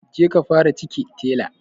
Je ka fara cike tela